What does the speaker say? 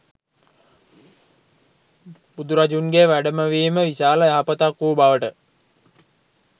බුදුරජුන්ගේ වැඩමවීම විශාල යහපතක් වූ බවට